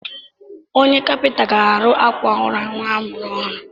Onye kapịnta ga-arụ àkwà ụra nwa a mụrụ ọhụrụ.